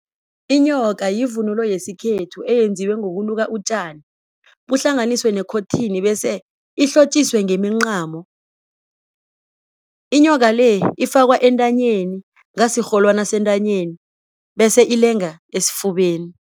Inyoka yivunulo yesikhethu eyenziwe ngokuluka utjani kuhlanganiswe nekotini bese ihlotjiswe ngemincamo. Inyoka le ifakwa entanyeni ngasirholwani sentanyeni bese ilenge esifubeni.